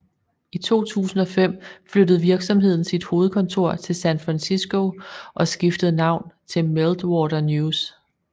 I 2005 flyttede virksomheden sit hovedkontor til San Francisco og skiftede navn til Meltwater News